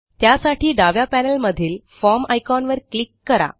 त्यासाठी डाव्या पॅनेल मधील फॉर्म आयकॉनवर क्लिक करा